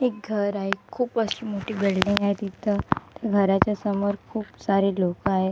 एक घर आहे खूप अशी मोठी बिल्डिंग आहे तिथं घराच्या समोर खूप सारे लोकं आहे.